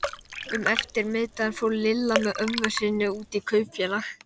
Um eftirmiðdaginn fór Lilla með ömmu sinni út í Kaupfélag.